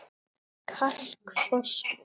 Kalk Fosfór